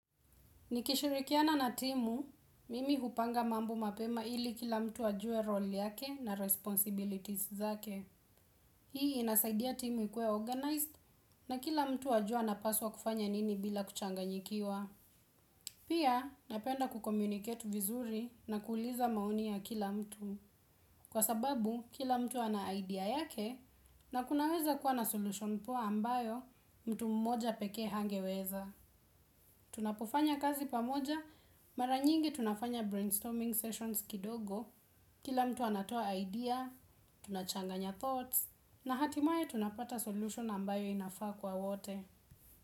Nikishirikiana na timu, mimi hupanga mambo mapema ili kila mtu ajue roli yake na responsibilities zake. Hii inasaidia timu ikuwe organized na kila mtu ajue anapaswa kufanya nini bila kuchanganyikiwa. Pia napenda kukomuniket vizuri na kuuliza maoni ya kila mtu. Kwa sababu kila mtu ana idea yake na kunaweza kuwa na solution poa ambayo mtu mmoja pekee hangeweza. Tunapofanya kazi pamoja, maranyingi tunafanya brainstorming sessions kidogo, kila mtu anatoa idea, tunachanganya thoughts, na hatimaye tunapata solution ambayo inafaa kwa wote.